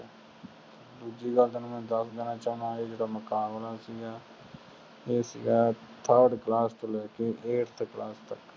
ਦੂਜੀ ਗੱਲ ਤੈਨੂੰ ਮੈਂ ਦਸ ਦੇਨਾ ਚਹੁੰਦਾ ਇਹ ਜਿਹੜਾ ਮੁਕਾਬਲਾ ਸੀਗਾ ਇਹ ਸੀਗਾ ਥਰਡ ਕਲਾਸ ਤੋਂ ਲੈ ਕ ਇਆਥ ਕਲਾਸ ਤਕ